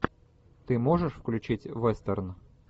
ты можешь включить вестерн